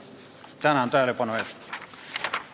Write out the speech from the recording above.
Tänan tähelepanu eest!